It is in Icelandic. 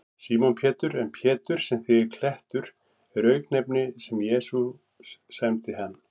Símon Pétur, en Pétur, sem þýðir klettur, er auknefni sem Jesús sæmdi hann.